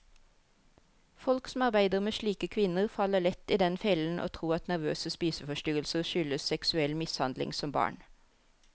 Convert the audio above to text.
Folk som arbeider med slike kvinner, faller lett i den fellen å tro at nervøse spiseforstyrrelser skyldes seksuell mishandling som barn.